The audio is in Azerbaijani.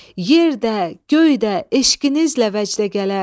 Yer də, göy də eşqinizlə vəcdə gələr.